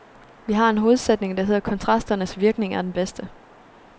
Vi har en hovedsætning der hedder kontrasternes virkning er den bedste.